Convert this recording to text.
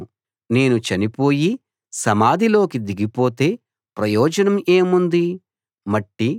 యెహోవా నీకే నేను మొరపెట్టాను నా ప్రభువును బతిమాలుకున్నాను